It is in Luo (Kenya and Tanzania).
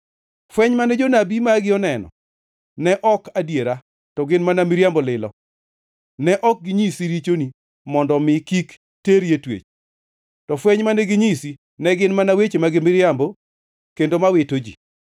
Fweny mane jonabi magi oneno ne ok adiera, to gin mana miriambo lilo, ne ok ginyisi richoni mondo omi kik teri e twech. To fweny mane ginyisi ne gin mana weche mag miriambo kendo ma wito ji.